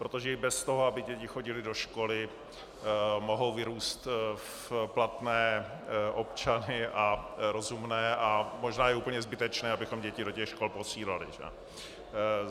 Protože i bez toho, aby děti chodily do školy, mohou vyrůst v platné občany a rozumné - a možná je úplně zbytečné, abychom děti do těch škol posílali.